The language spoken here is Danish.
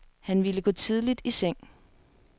Han ville gå tidligt i seng.